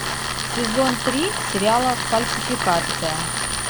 сезон три сериала фальсификация